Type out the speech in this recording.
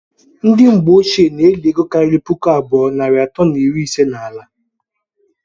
ndi mgbe ọchie na- eli ego kari pụkụ abụọ narị ato na iri ise na ala